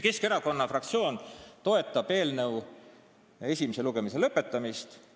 Keskerakonna fraktsioon toetab eelnõu esimese lugemise lõpetamist.